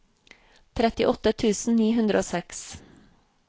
trettiåtte tusen ni hundre og seks